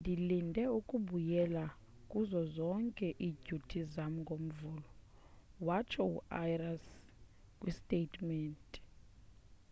ndilinde ukubuyela kuzo zonke idyuti zam ngomvulo, :watsho uarias kwisitatementi